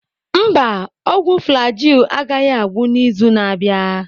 Mba, ọgwụ Flagyl agaghị agwụ n'izu na-abịa.